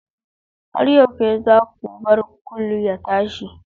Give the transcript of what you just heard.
Har yaushe za ku bar kullu ya tashi?